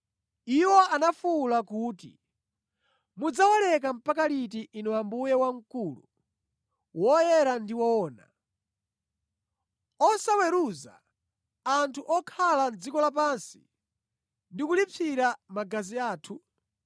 Iwo anafuwula kuti, “Mudzawaleka mpaka liti, Inu Ambuye wamkulu, woyera ndi woona, osawaweruza anthu okhala mʼdziko lapansi ndi kulipsira magazi athu?”